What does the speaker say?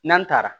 N'an taara